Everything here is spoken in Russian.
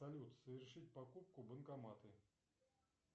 салют совершить покупку банкоматы